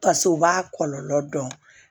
Pas'o b'a kɔlɔlɔ dɔn